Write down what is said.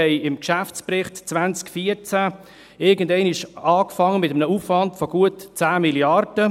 Im Geschäftsbericht 2014 fingen wir einmal an mit einem Aufwand von gut 10 Mrd. Franken.